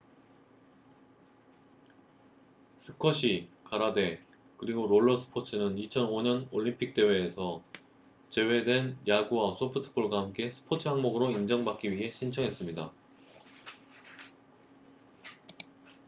스쿼시 가라데 그리고 롤러 스포츠는 2005년 올림픽 대회에서 제외된 야구와 소프트볼과 함께 스포츠 항목으로 인정받기 위해 신청했습니다